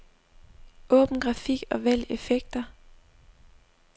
Åbn grafik og vælg effekter.